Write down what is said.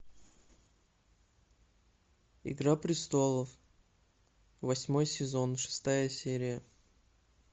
игра престолов восьмой сезон шестая серия